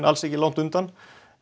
alls ekki langt undan